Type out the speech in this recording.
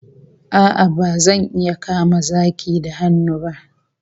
A'a, bazan iya kama zaki da hannu ba